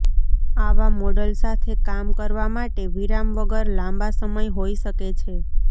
આવા મોડલ સાથે કામ કરવા માટે વિરામ વગર લાંબા સમય હોઈ શકે છે